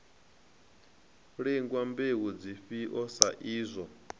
lingwa mbeu dzifhio sa izwo